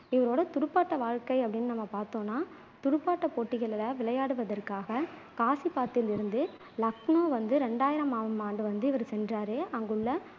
இவரோட துடுப்பாட்ட வாழ்க்கை அப்படின்னு நம்ம பாத்தோம்னா துடுப்பாட்டப் போட்டிகளில விளையாடுவதற்காக காசிபாத்தில் இருந்து லக்னோ வந்து ரெண்டாயிரமாம் ஆண்டு வந்து இவரு சென்றாரு அங்குள்ள